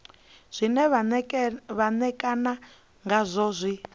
zwe vha ṋekana ngazwo zwi